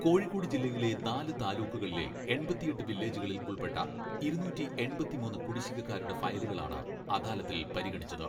കോഴിക്കോട് ജില്ലയിലെ നാല് താലൂക്കുകളിലെ എൺപത്തിയെട്ട് വില്ലേജുകളിൽ ഉൾപ്പെട്ട ഇരുനൂറ്റി എൺപത്തിമൂന്ന് കുടിശ്ശികക്കാരുടെ ഫയലുകളാണ് അദാലത്തിൽ പരിഗണിച്ചത്.